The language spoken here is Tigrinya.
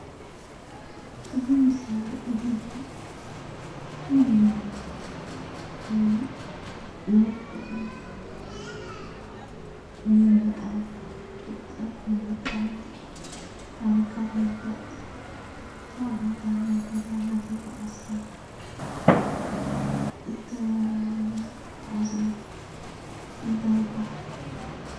እዚ ምስሊ ንሪኦ ዘለና ዝተፈላለዩ ናይ ቀደም ንምርኣይ ፣ ፍልጠት ንምርካብ ፣ ታሪካት ንምፍላጥ ካብ ቦታ ናብ ቦታ እናተጓዓዝካ እትጓዓዞ እንታይ ይባሃል?